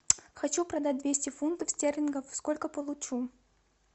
хочу продать двести фунтов стерлингов сколько получу